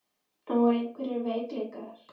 En voru einhverjir veikleikar?